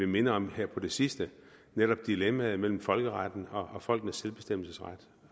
mindet om her på det sidste netop dilemmaet mellem folkeretten og folkenes selvbestemmelsesret